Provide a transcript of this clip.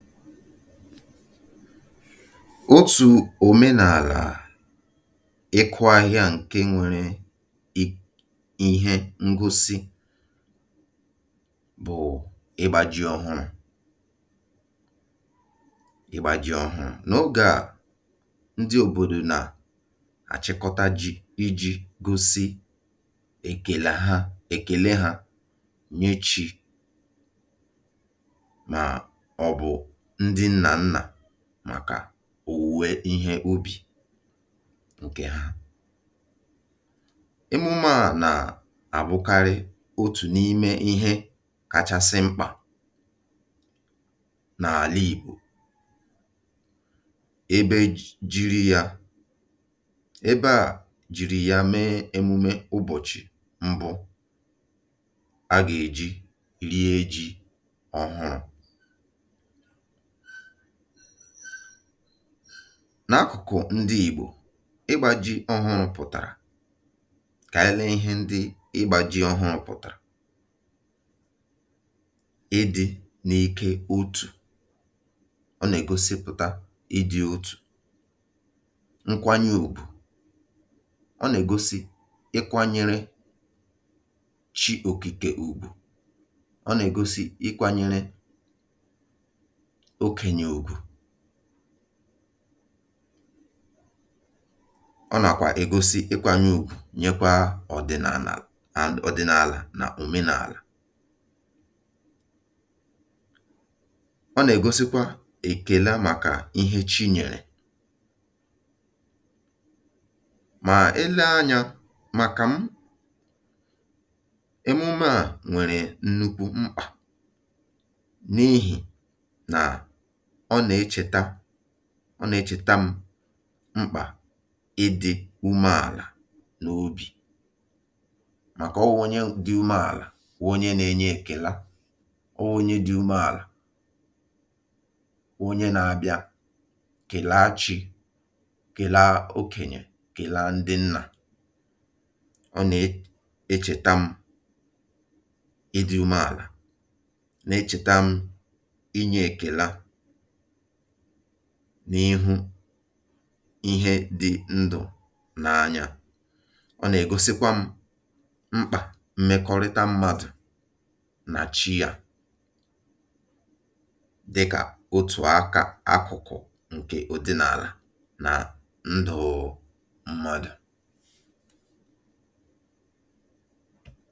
Otù òmenàlà ịkụ̇ ahịhịa ǹke nwėrė um ihe ngosi bụ̀ ịgbȧ ji ọhụrụ̇ ịgbȧ jị ọhụrụ̇. N’ogè à, ndị òbòdò nà àchịkọta ji iji̇ gosi èkèla ha èkèle hȧ nye chi̇ mọbụ ndị nnà nnà màkà owuwe ihe ubì ǹkè ha. Emume à nà-àbụkarị otù n’ime ihe kachasị mkpà n’àla Igbò, Ebe a jiri yȧ ebe e jiri yȧ mee emume ụbọchị mbụ aga-eji rie ji ọhụrụ. N’akụkụ ndị Igbò, ịgbȧ ji ọhụrụ̇ pụ̀tàrà kà ànyị lee ihe ndị ịgbȧ ji ọhụrụ̇ pụ̀tàrà. Ịdị̇ n’ike otù, ọ nà-ègosipụ̀ta ịdị̇ otù, nkwanye ugwù. Ọ nà-ègosi ịkwȧnyere chi òkìkè ùgwù, ọ nà-ègosi ịkwȧnyere okenye ugwu, ọ nàkwà egosi ịkwȧnyȧ ùgwù nyekwa ọ̀dị̀nààlà, and ọ̀dị̀nààlà nà òmenààlà, ọ nà-ègosikwa èkèle màkà ihe chi nyèrè. Mà, ele anyȧ màkà m, emume à nwèrè nnukwu mkpà n'ihi na ọ nà-echèta ọ nà-echèta m mkpà ịdị̇ ume àlà nà obì màkà ọwụ̇ onye dị ume àlà wụ onye na-enye èkela, ọwụ̇ onye dị ume àlà wụ onye na-abịa kèlaa chi, kèlaa okènyè, kèlaa ndị nnà. Ọ nà-echèta m ịdị̇ ume àlà, na-echèta m inye èkela n’ihu ihe dị ndụ̀ n’anya. Ọ nà-ègosikwa m mkpà mmekọrịta mmadụ̀ nà chi yȧ dịkà otù aka akụ̀kụ̀ ǹkè ọdị̇nàla nà ndụ̀ mmadụ̀.